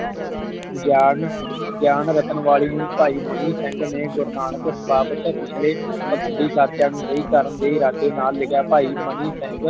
ਗਿਆਨ ਗਿਆਨ ਰਟਨ ਨੂੰ ਭਾਈ ਮਨੀ ਸਿੰਘ ਨੇ ਗੁਰੂ ਨਾਨਕ ਬਾਬਤ ਪਿਛਲੇ ਭਾਖੰਡੀ ਢਾਂਚਿਆਂ ਨੂੰ ਸਹੀ ਕਰਨ ਦੇ ਇਰਾਦੇ ਨਾਲ ਮਿਲਿਆ ਭਾਈ ਮਨੀ ਸਿੰਘ